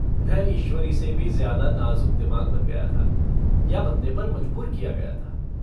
मैं ईश्वरी से भी ज्यादा नाजुक दिमाग बन गया था या बनने पर मजबूर किया गया था।